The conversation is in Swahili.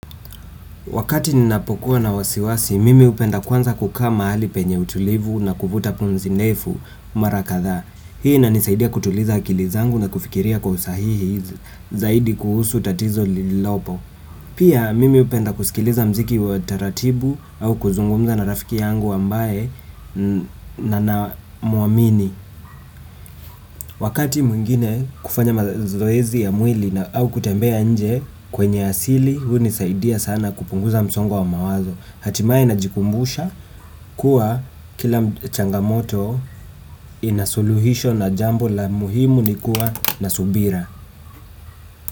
Wakati ninapokuwa na wasiwasi, mimi hupenda kwanza kukaa mahali penye utulivu na kuvuta punzi ndefu mara kadha. Hii inanisaidia kutuliza akili zangu na kufikiria kwa usahihi zaidi kuhusu tatizo lililopo. Pia mimi hupenda kusikiliza mziki wa taratibu au kuzungumza na rafiki yangu ambaye ninamwamini. Wakati mwingine kufanya mazoezi ya mwili au kutembea nje kwenye asili, hunisaidia sana kupunguza msongo wa mawazo. Hatimaye najikumbusha kuwa kila changamoto ina suluhisho na jambo la muhimu ni kuwa na subira.